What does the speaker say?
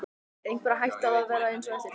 Er einhver hætta á að það verði eins á eftir?